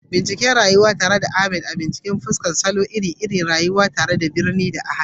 Bincika rayuwar titin Legas tare da Ahmad kuma ku fuskanci salon rayuwa iri-iri na birni da hannu.